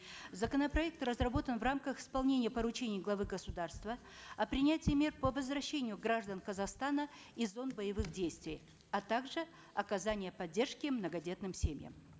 законопроект разработан в рамках исполнения поручения главы государства о принятии мер по возвращению граждан казахстана из зон боевых действий а также оказания поддержки многодетным семьям